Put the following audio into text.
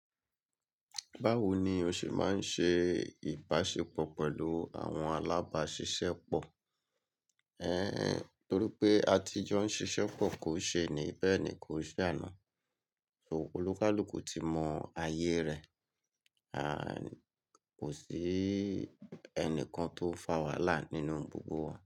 Báwo ni o ṣe máa ń ṣe ìbáṣepọ̀ pẹ̀lú àwọn alábáṣiṣẹ́ pọ̀? Ẹ́, torí pé àtijọ́ ń ṣiṣẹ́ pọ̀ kò ṣe eni bẹ́ẹ̀ ni kò ṣe àná. So olúkálú kò ti mọ ayé rẹ̀, a kò sí ẹnìkan tó fà wàhálà nínú gbogbo wa.